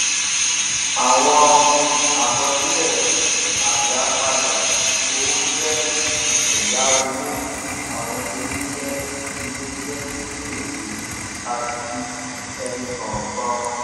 àwọn àkọsílè àdápadà owó jé èyáwó àwọn iléiṣé iléiṣé kékèké àti ẹnì kòòkan